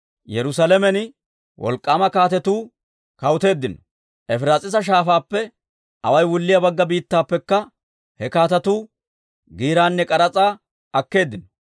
Yerusaalamen wolk'k'aama kaatetuu kawuteeddino; Efiraas'iisa Shaafaappe awaay wulliyaa Bagga Biittaappekka he kaatetuu giiraanne k'aras'aa akkeeddino.